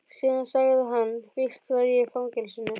Síðan sagði hann: Víst var ég í fangelsinu.